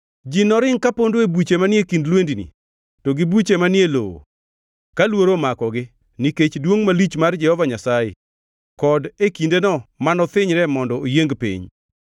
Ji noring kapondo e buche manie kind lwendni to gi buche manie lowo, ka luoro omakogi nikech duongʼ malich mar Jehova Nyasaye, kod e kindeno mano thinyre mondo oyieng piny.